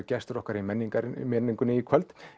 gestur okkar í menningunni í menningunni í kvöld